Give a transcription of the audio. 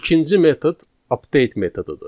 İkinci metod update metodudur.